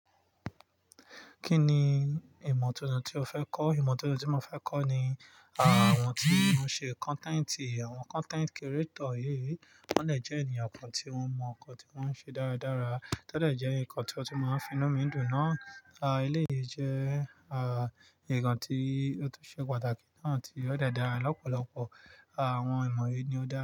Kínní ìmọ̀ tuntun tí o fẹ́ kọ́? Ìmọ̀ tuntun tí mo fẹ́ kọ́ ni àwọn tí wọ́n ṣe content, àwọn content creator yìí. Wọ́n dé è jẹ́ ènìyàn kan tí wọ́n mọ nǹkan tí wọ́n ṣe dáradára. Tó dẹ̀ jẹ́ ǹkan tí ọ́ tu máa ń fi inú mi dùn nàá. Aà, eléyìí jẹ́, aà, ǹkan tí ó tu ṣe pàtàkì náà tí ó dára lọ́pọ̀lọpọ̀. Àwọn ìmọ̀ yìí ni ó dára.